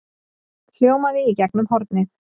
hljómaði í gegnum hornið.